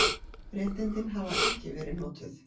Réttindin hafa ekki verið notuð.